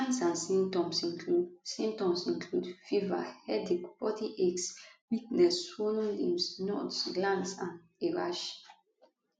signs and symptoms include symptoms include fever headache body aches weakness swollen lymph nodes glands and a rash